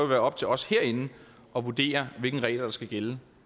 være op til os herinde at vurdere hvilke regler der skal gælde